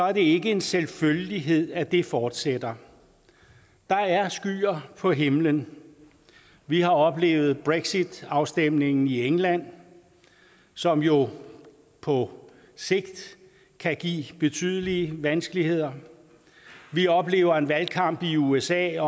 er det ikke en selvfølgelighed at det fortsætter der er skyer på himlen vi har oplevet brexit afstemningen i england som jo på sigt kan give betydelige vanskeligheder vi oplever en valgkamp i usa